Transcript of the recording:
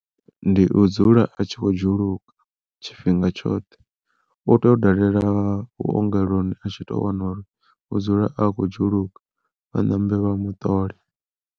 Ndi u dzula a tshi kho dzhuluka tshifhinga tshoṱhe, u tea u dalela vhuongeloni a tshi to wana uri u dzula a khou dzhuluka vha ṋambe vha muṱole.